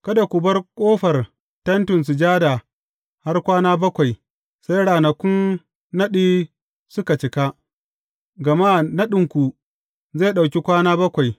Kada ku bar ƙofar Tentin Sujada har kwana bakwai, sai ranakun naɗi suka cika, gama naɗinku zai ɗauki kwana bakwai.